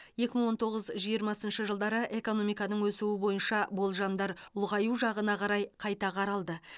екі мың он тоғыз жиырмасыншы жылдары экономиканың өсуі бойынша болжамдар ұлғаю жағына қарай қайта қаралды